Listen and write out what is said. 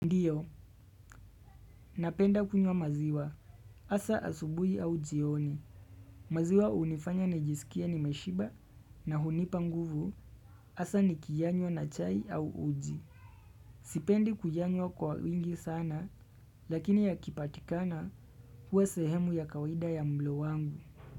Ndiyo, napenda kunywa maziwa. Hasa asubuhi au jioni. Maziwa unifanya najisikia nimeshiba na hunipa nguvu. Hasa nikiyanywa na chai au uji. Sipendi kuyanywa kwa wingi sana lakini yakipatikana huwe sehemu ya kawida ya mwili wangu.